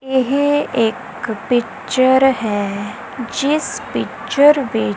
ਇਹ ਇੱਕ ਪਿੱਚਰ ਹੈ ਜਿਸ ਪਿੱਚਰ ਵਿੱਚ।